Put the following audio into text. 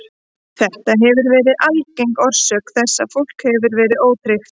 Þetta hefur verið algeng orsök þess að fólk hefur verið ótryggt.